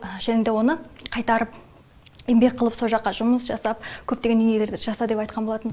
және де оны қайтарып еңбек қылып со жаққа жұмыс жасап көптеген дүниелерді жаса деп айтқан болатын